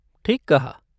ठीक कहा।